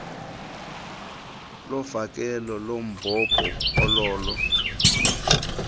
lofakelo lombhobho ololo